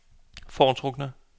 foretrukne